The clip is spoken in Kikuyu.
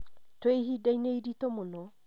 Twĩ ihinda-inĩ iritũ mũno